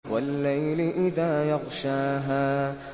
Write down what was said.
وَاللَّيْلِ إِذَا يَغْشَاهَا